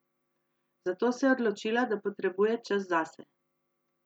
Zato se je odločila, da potrebuje čas zase.